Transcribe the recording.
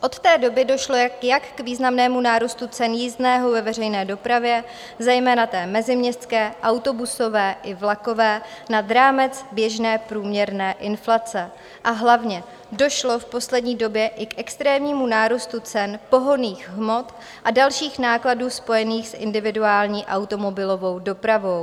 Od té doby došlo jak k významnému nárůstu cen jízdného ve veřejné dopravě, zejména té meziměstské autobusové i vlakové, nad rámec běžné průměrné inflace a hlavně došlo v poslední době i k extrémnímu nárůstu cen pohonných hmot a dalších nákladů spojených s individuální automobilovou dopravou.